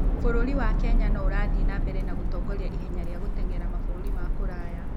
Bũrũri wa Kenya no ũrathiĩ na mbere na gũtongoria ihenya rĩa gũteng'era mabũrũri ma kũraya.